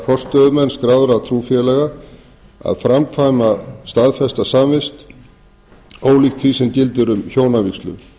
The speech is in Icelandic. fyrir presta eða forstöðumenn skráðra trúfélaga að framkvæma staðfesta samvist ólíkt því sem gildir um hjónavígslu